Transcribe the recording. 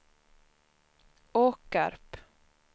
Åkarp